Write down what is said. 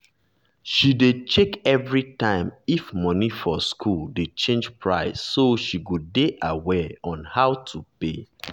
she dey check everytime if money for school dey change price so she go dey aware on how to pay